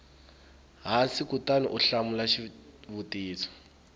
hansi kutani u hlamula xivutiso